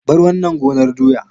Bar wannan gonar doya!